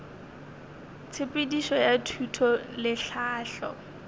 tshepedišo ya thuto le tlhahlo